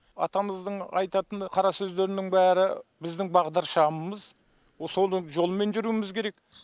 атамыздың айтатыны қара сөздерінің бәрі біздің бағдаршамымыз сол жолмен жүруіміз керек